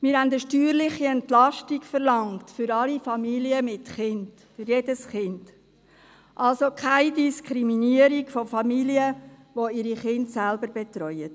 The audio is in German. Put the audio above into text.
Wir hatten eine steuerliche Entlastung für alle Familien mit Kind, für jedes Kind, verlangt, also keine Diskriminierung von Familien, die ihre Kinder selbst betreuen.